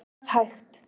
Ef hægt